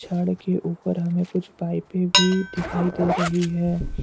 छड़ के ऊपर हमें कुछ पाइपे भी दिखाई दे रही है।